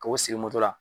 K'o sigi moto la